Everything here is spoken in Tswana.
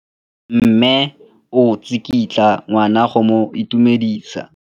Mme o tsikitla ngwana go mo itumedisa.